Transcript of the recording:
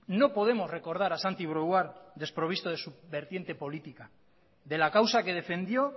no podemos recordar a santi brouard desprovisto de su vertiente política de la causa que defendió